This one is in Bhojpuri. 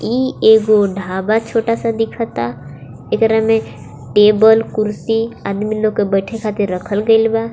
ई एगो ढाबा छोटा सा दिखता एकरा में टेबल कुर्सी आदमी लोग के बैठे खातिर रखल गयिल बा.